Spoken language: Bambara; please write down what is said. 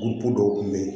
dɔw kun be yen